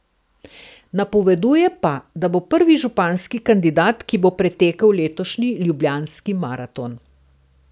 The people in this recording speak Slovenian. Napoveduje pa, da bo prvi županski kandidat, ki bo pretekel letošnji ljubljanski maraton.